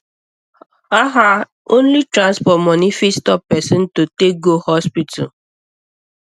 ah ah only transport money fit stop person to take go hospital